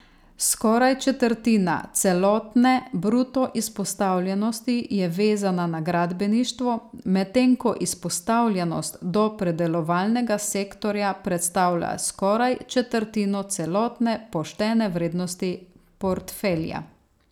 Skoraj četrtina celotne bruto izpostavljenosti je vezana na gradbeništvo, medtem ko izpostavljenost do predelovalnega sektorja predstavlja skoraj četrtino celotne poštene vrednosti portfelja.